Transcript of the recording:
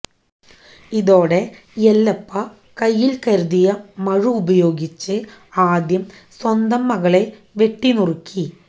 ഇതോടെ യെല്ലപ്പ കയ്യില് കരുതിയ മഴു ഉപയോഗിച്ച് ആദ്യം സ്വന്തം മകളെ വെട്ടി നുറുക്കി